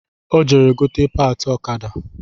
Ọ jere gote patị ọkada